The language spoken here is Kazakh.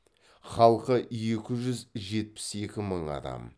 халқы екі жүз жетпіс екі мың адам